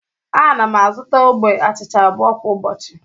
Ana m azụta ogbe achịcha abụọ kwa ụbọchị